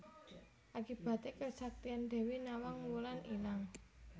Akibaté kesaktian Dewi Nawang Wulan ilang